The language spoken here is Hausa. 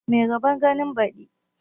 Mai rabon ganin baɗi